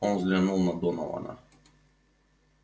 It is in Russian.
он взглянул на донована